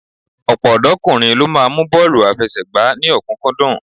Ọ̀pọ̀ ọ̀dọ́kùnrin ló máa mú bọ́ọ̀lù àfẹsẹ̀gbá ní ọ̀kúnkúndùn